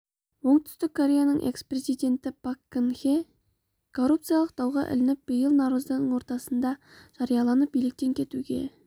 оңтүстік кореяның экс-президенті пак кын хе коррупциялық дауға ілігіп биыл наурыздың ортасында жарияланып биліктен кетуге